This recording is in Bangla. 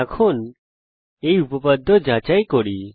এখন উপপাদ্য যাচাই করি